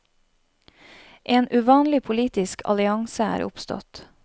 En uvanlig politisk allianse er oppstått.